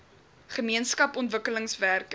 gemeenskap ontwikkelingswerkers